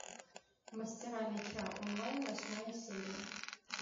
мастера меча онлайн восьмая серия